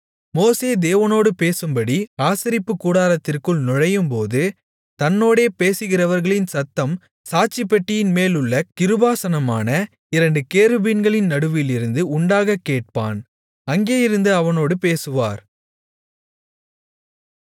மோசே தேவனோடு பேசும்படி ஆசரிப்புக்கூடாரத்திற்குள் நுழையும்போது தன்னோடே பேசுகிறவர்களின் சத்தம் சாட்சிப்பெட்டியின்மேலுள்ள கிருபாசனமான இரண்டு கேருபீன்களின் நடுவிலிருந்து உண்டாகக் கேட்பான் அங்கே இருந்து அவனோடு பேசுவார்